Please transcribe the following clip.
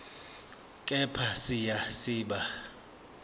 kepha siya siba